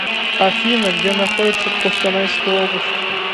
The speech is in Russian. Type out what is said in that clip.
афина где находится костанайская область